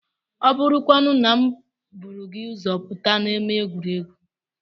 Ọ bụrụkwanụ na m buru gị ụzọ pụta n'ámá egwuregwu?